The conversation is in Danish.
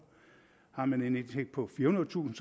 har man en indtægt på firehundredetusind